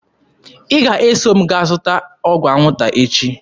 Ị ga-eso m gaa zụta ọgwụ anwụnta echi!